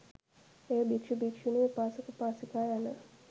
එය භික්ෂු භික්ෂුණී, උපාසක, උපාසිකා යන